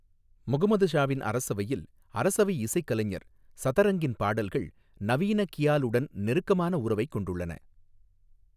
முகமது ஷாவின் அரசவையில் அரசவை இசைக்கலைஞர் சதரங்கின் பாடல்கள் நவீன கியாலுடன் நெருக்கமான உறவைக் கொண்டுள்ளன.